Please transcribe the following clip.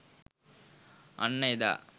අන්න එදා